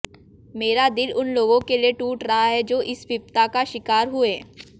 मेरा दिल उन लोगों के लिए टूट रहा है जो इस विपदा का शिकार हुए